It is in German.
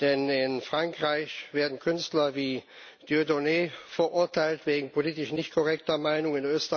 Denn in Frankreich werden Künstler wie Diendonné verurteilt wegen politisch nicht korrekter Meinungen.